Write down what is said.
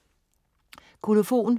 Kolofon